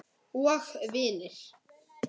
Og vinir.